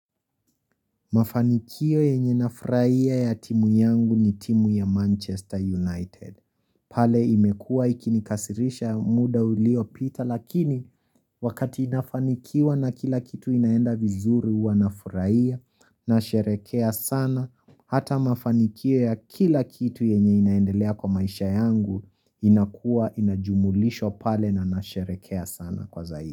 Mafanikio yenye nafurahia ya timu yangu ni timu ya Manchester United. Pale imekua ikinikasirisha muda uliopita lakini wakati inafanikiwa na kila kitu inaenda vizuri huwa nafurahia nasherekea sana hata mafanikio ya kila kitu yenye inaendelea kwa maisha yangu inakua inajumulishwa pale na nasherekea sana kwa zaidi.